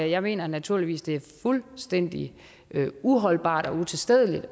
jeg mener naturligvis det er fuldstændig uholdbart og utilstedeligt